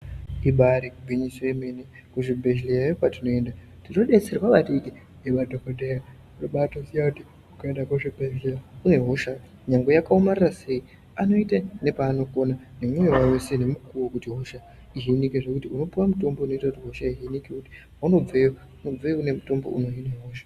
Ibaari gwinyiso yemene kuzvibehlerayo kwatinoenda tinobetserwa maningi ngemadhokodheya Tinobaatoziya kuti ukaenda kuchibhehlera une hosha chero yakaomarara sei ,anoita nepaanokona ndipo kuti unopuwa mutombo unoenderana nehosha yaunenge unayo .Paunobveyo unopuwa mutombo unorapa hosha yacho .